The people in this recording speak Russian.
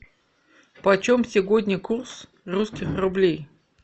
почем сегодня курс русских рублей